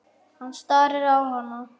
Hann starir á hana.